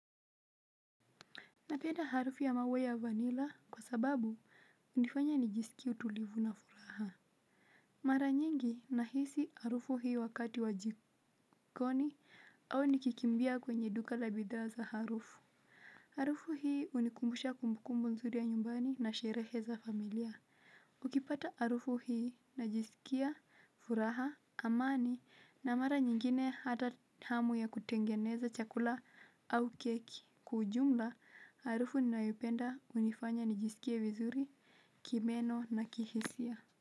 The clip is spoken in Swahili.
Napenda harufu ya maua ya vanila kwa sababu hunifanya nijisikie utulivu na furaha. Mara nyingi na hisi harufu hii wakati wa jikoni au nikikimbia kwenye duka la bidhaa za harufu. Harufu hii hunikumbusha kumbukumbu nzuri ya nyumbani na sherehe za familia. Nikipata harufu hii najisikia furaha amani na mara nyingine hata hamu ya kutengeneza chakula au keki. Kwa ujumla, harufu ninayoipenda hunifanya nijisikia vizuri, kimeno na kihisia.